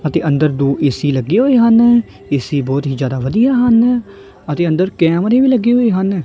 ਅਤੇ ਅੰਦਰ ਦੋ ਏ_ਸੀ ਲੱਗੇ ਹੋਏ ਹਨ ਏ_ਸੀ ਬਹੁਤ ਹੀ ਜਿਆਦਾ ਵਧੀਆ ਹਨ ਅਤੇ ਅੰਦਰ ਕੈਮਰੇ ਵੀ ਲੱਗੀ ਹੋਏ ਹਨ।